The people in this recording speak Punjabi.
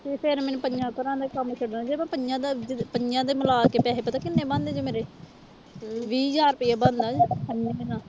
ਤੇ ਫਿਰ ਮੈਨੂੰ ਪੰਜਾਂ ਘਰਾਂ ਦੇ ਕੰਮ ਛੱਡਣੇ ਜੇ ਮੈਂ ਪੰਜਾਂ ਦਾ, ਪੰਜਾਂ ਦੇ ਮਿਲਾ ਕੇ ਪੈਸੇ ਪਤਾ ਕਿੰਨੇ ਬਣਦੇ ਜੇ ਮੇਰੇ ਵੀਹ ਹਜ਼ਾਰ ਰੁਪਇਆ ਬਣਦਾ